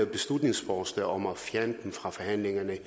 beslutningsforslag om at fjerne dem fra forhandlingerne